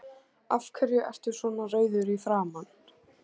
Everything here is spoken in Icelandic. Af hverju ertu svona rauður í framan?